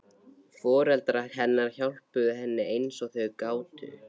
Foreldrar hennar hjálpuðu henni eins og þau gátu.